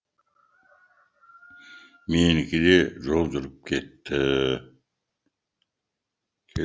менікі де жол жүріп кетті